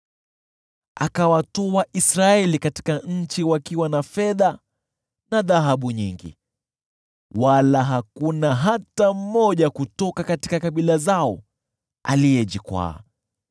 Akawatoa Israeli katika nchi wakiwa na fedha na dhahabu nyingi, wala hakuna hata mmoja kutoka kabila zao aliyejikwaa.